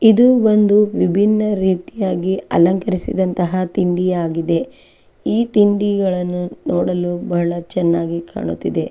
ಇದು ಒಂದು ವಿಬ್ಬಿನ ರೀತಿಯಾಗಿ ಅಲಂಕರಿಸಿದಂತಹ ತಿಂಡಿಯಾಗಿದೆ ಈ ತಿಂಡಿಗಳನ್ನು ನೋಡಲು ಬಹಳ ಚೆನ್ನಾಗಿ ಕಾಣುತಿದೆ .